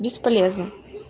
бесполезно